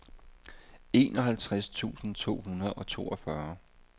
enoghalvtreds tusind to hundrede og toogfyrre